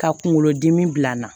Ka kunkolo dimi bila an na